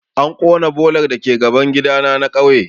An ƙona bolar dake gaban gidana na kauye